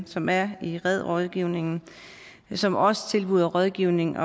som er i red rådgivningen som også tilbyder rådgivning